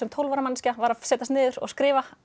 tólf ára manneskja var að setjast niður og skrifa